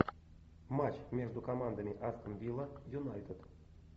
матч между командами астон вилла юнайтед